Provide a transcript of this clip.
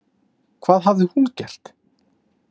Hvað hafði hún gert?